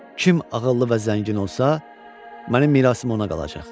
Kim ağıllı və zəngin olsa, mənim mirasım ona qalacaq.